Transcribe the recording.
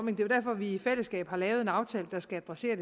er jo derfor vi i fællesskab har lavet en aftale der skal adressere